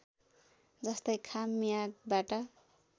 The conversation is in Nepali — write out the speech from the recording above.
जस्तै खाम मियागबाट